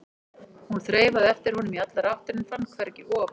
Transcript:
Hún þreifaði eftir honum í allar áttir en fann hvergi op.